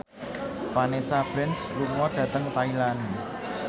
Vanessa Branch lunga dhateng Thailand